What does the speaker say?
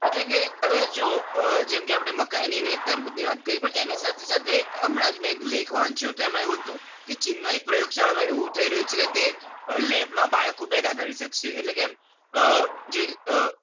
એટલે કે હવે જોવો આપણે મકાઈ ની ને તડબૂચ ની વાત કરી એની સાથે સાથે મેં હમણાં જ એક લેખ વાંચ્યો હતો. એમાં એવું હતું કે ચીન માં એક પ્રયોગશાળા માં એવું થઇ રહ્યું છે તે lab માં બાળકો પેદા કરી શકશે.